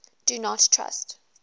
do not trust